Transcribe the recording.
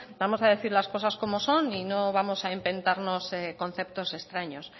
vamos a decir las cosas como son y no vamos a inventarnos conceptos extraños